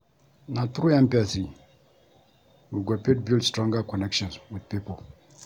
Na through empathy we go fit build stronger connections with pipo.